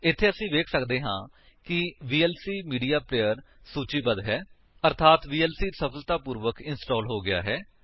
ਇੱਥੇ ਅਸੀ ਵੇਖ ਸਕਦੇ ਹਾਂ ਕਿ ਵੀਐਲਸੀ ਮੀਡੀਆ ਪਲੇਅਰ ਸੂਚੀਬੱਧ ਹੈ ਅਰਥਾਤ ਵੀਐਲਸੀ ਸਫਲਤਾਪੂਰਵਕ ਇੰਸਟਾਲ ਹੋ ਗਿਆ ਹੈ